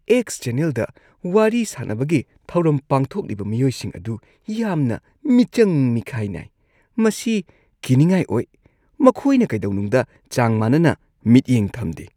X ꯆꯦꯅꯦꯜꯗ ꯋꯥꯔꯤ ꯁꯥꯅꯕꯒꯤ ꯊꯧꯔꯝ ꯄꯥꯡꯊꯣꯛꯂꯤꯕ ꯃꯤꯌꯣꯏꯁꯤꯡ ꯑꯗꯨ ꯌꯥꯝꯅ ꯃꯤꯆꯪ-ꯃꯤꯈꯥꯏ ꯅꯥꯏ, ꯃꯁꯤ ꯀꯤꯅꯤꯡꯉꯥꯏ ꯑꯣꯏ꯫ ꯃꯈꯣꯏꯅ ꯀꯩꯗꯧꯅꯨꯡꯗ ꯆꯥꯡ ꯃꯥꯟꯅꯅ ꯃꯤꯠꯌꯦꯡ ꯊꯝꯗꯦ꯫